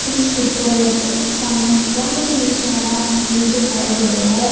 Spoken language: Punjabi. ਇਸ ਪਿੱਚਰ ਵਿੱਚ ਸਾਨੂੰ ਬਹੁਤ ਹੀ ਸੋਹਣਾ ਵਿਊ ਦਿਖਾਈ ਦੇ ਰਿਹਾ ਹੈ।